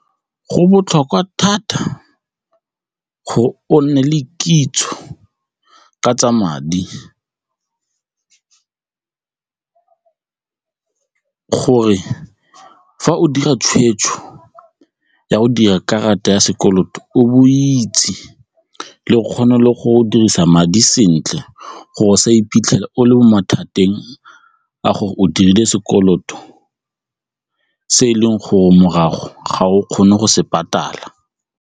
Go botlhokwa thata gore o nne le kitso ka tsa madi gore fa o dira tshweetso ya go dira karata ya sekoloto o bo o itse le go kgona le go dirisa madi sentle gore o sa iphitlhela o le mo mathateng a gore o dirile sekoloto se e leng gore morago ga o kgone go se patala.